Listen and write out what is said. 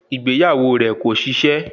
Ìgbéyàwó rẹ̀ kò ṣiṣẹ́